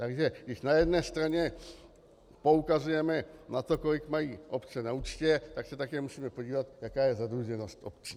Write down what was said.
Takže když na jedné straně poukazujeme na to, kolik mají obce na účtě, tak se také musíme podívat, jaká je zadluženost obcí.